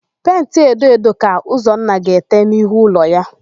Penti edo edo ka Ụzọnna ga-ete n'ihu ụlọ ya.